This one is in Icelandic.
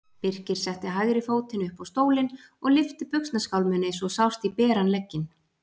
Birkir setti hægri fótinn upp á stólinn og lyfti buxnaskálminni svo sást í beran legginn.